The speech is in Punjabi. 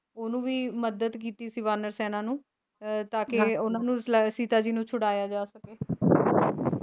ਉਹਨੂੰ ਵੀ ਮਦਦ ਕੀਤੀ ਸੀ ਵਾਨਰ ਸੈਨਾ ਨੂੰ ਅਹ ਤਾਂ ਕਿ ਉਹਨਾਂ ਨੂੰ ਸਲੈ ਸੀਤਾ ਜੀ ਨੂੰ ਛੁਡਾਇਆ ਜਾ ਸਕੇ